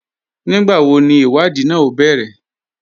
Nígbàwó ní ìwádìí náà o bẹ̀rẹ̀?